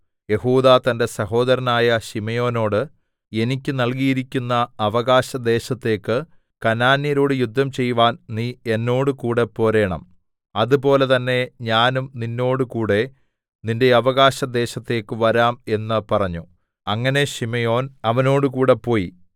യെഹൂദാ തന്റെ സഹോദരനായ ശിമെയോനോട് എനിക്ക് നൽകിയിരിക്കുന്ന അവകാശ ദേശത്തേക്ക് കനാന്യരോട് യുദ്ധം ചെയ്‌വാൻ നീ എന്നോടുകൂടെ പോരേണം അതുപോലെ തന്നെ ഞാനും നിന്നോട് കൂടെ നിന്റെ അവകാശദേശത്തേക്ക് വരാം എന്ന് പറഞ്ഞു അങ്ങനെ ശിമെയോൻ അവനോടുകൂടെ പോയി